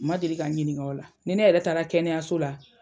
Ma deli k'a n ɲininka o la, ni ne yɛrɛ taara kɛnɛyaso la.